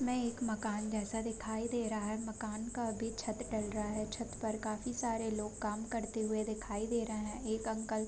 में एक मकान जैसा दिखाई दे रहा है मकान का अभी छत ढल रहा है छत पर काफी सारे लोग काम करते हुए दिखाई दे रहा हैं एक अंकल --